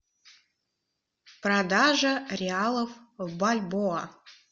продажа реалов в бальбоа